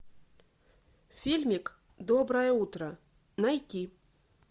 фильмик доброе утро найти